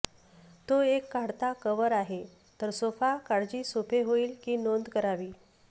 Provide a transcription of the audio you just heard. तो एक काढता कव्हर आहे तर सोफा काळजी सोपे होईल की नोंद करावी